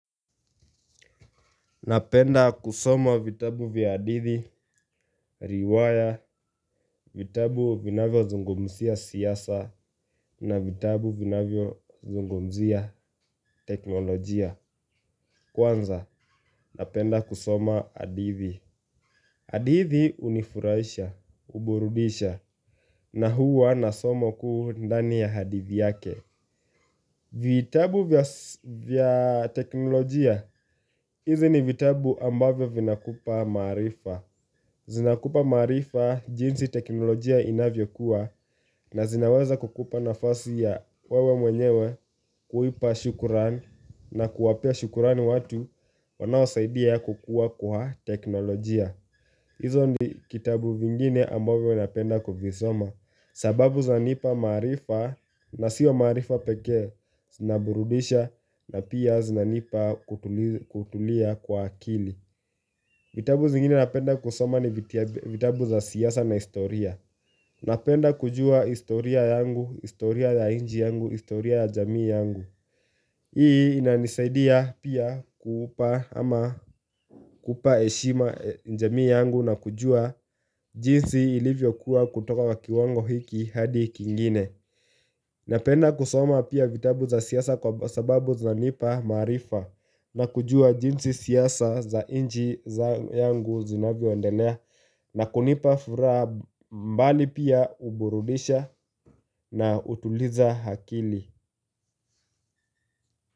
Napenda kusoma vitabu vya hadithi, riwaya, vitabu vinavyo zungumzia siasa na vitabu vinavyo zungumzia teknolojia. Kwanza, napenda kusoma adithi. Hadithi hunifurahisha, huburudisha na hua nasoma kuu ndani ya hadithi yake. Vitabu vya teknolojia, hizi ni vitabu ambavyo vinakupa maarifa. Zinakupa maarifa jinsi teknolojia inavyokua na zinaweza kukupa nafasi ya wewe mwenyewe kuipa shukuran na kuwapea shukurani watu wanawasaidia ya kukua kwa teknolojia. Hizo ni kitabu vingine amabazo napenda kuvisoma. Sababu zanipa maarifa na sio maarifa peke zinaburudisha na pia zinanipa kutulia kwa akili. Vitabu zingine napenda kusoma ni vitabu za siasa na historia Napenda kujua historia yangu, historia ya nchi yangu, historia ya jamii yangu Hii inanisaidia pia kupa heshima jamii yangu na kujua jinsi ilivyo kuwa kutoka wa kiwango hiki hadi kingine Napenda kusoma pia vitabu za siasa kwa sababu zanipa maarifa na kujua jinsi siasa za nchi yangu zinavyoendelea na kunipa furaha mbali pia huburudisha na hutuliza akili.